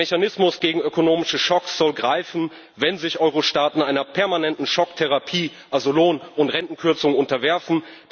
Der Mechanismus gegen ökonomische Schocks soll greifen, wenn sich Euro Staaten einer permanenten Schocktherapie, also Lohn und Rentenkürzungen, unterwerfen.